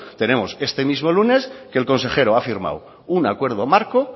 tenemos este mismo lunes que el consejero ha firmado un acuerdo marco